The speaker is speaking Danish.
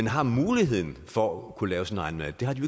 har muligheden for at kunne lave sin egen mad det har de